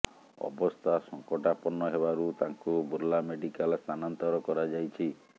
ଅବସ୍ଥା ସଂକଟାପନ୍ନ ହେବାରୁ ତାଙ୍କୁ ବୁର୍ଲା ମେଡିକାଲ ସ୍ଥାନାନ୍ତର କରାଯାଇଛି